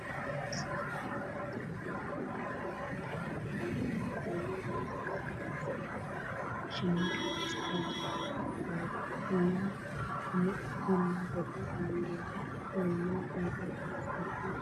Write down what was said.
አዛ ናይ መዝቃ ተጫወቲት ኮይና ባህላዊ ክዳን ተከዲና ባህላዊ ናይ መዝቃ ኪራር ዝባሃል ሸማ ድማ ፀሃይቱ በራኺ ትባሃል ኮይና ብጎና ዘሎ ባንደራ ናይ መን ሃገሪ ይመስለኩም?